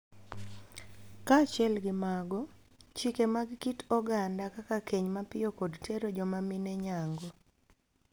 Kaachiel gi mago, chike mag kit oganda kaka keny mapiyo kod tero joma mine nyangu (FGM)